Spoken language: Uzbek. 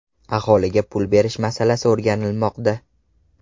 Aholiga pul berish masalasi o‘rganilmoqda.